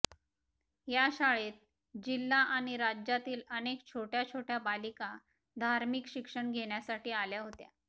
या शाळेत जिल्हा आणि राज्यातील अनेक छोट्या छोट्या बालिका धार्मिक शिक्षण घेण्यासाठी आल्या होत्या